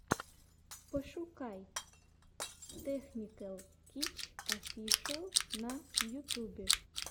пошукай тэхникэл хитч офишэл на ютюбе